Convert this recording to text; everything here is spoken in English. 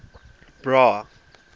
bra